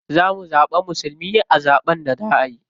Za mu zaɓi musulmi a zaɓen da za a yi.